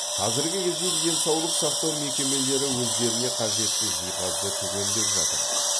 қазіргі кезде денсаулық сақтау мекемелері өздеріне қажетті жиһазды түгендеп жатыр